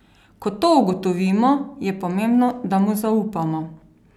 Ko to ugotovimo, je pomembno, da mu zaupamo.